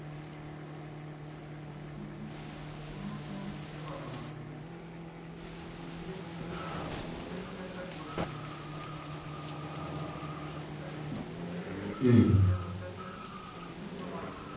তোমাকে ছেড়ে কথা বলবে না তুমি যে প্রকৃতির উপর অত্যাচারটা করছো ঠিক আছে? হম সে অত্যাচারটা কিন্তু প্রকৃতি তোমার উপর করবে,